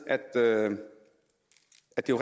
at det